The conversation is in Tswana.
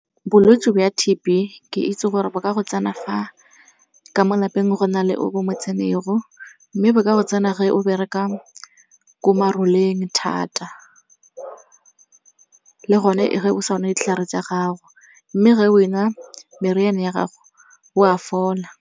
Bolwetse bo a T_B ke itse gore ba ka go tsena fa ka mo lapeng go na le o bo mo tshene go. Mme bo ka go tsena ge o bereka ko maroleng thata le gone ge o sa nwe ditlhare tsa gago, mme ge o e nwa meriana ya gago o a fola.